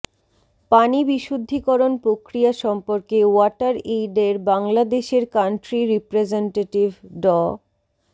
পানি বিশুদ্ধকরণ প্রক্রিয়া সম্পর্কে ওয়াটার এইড এর বাংলাদেশের কান্ট্রি রিপ্রেজেন্টিটিভ ড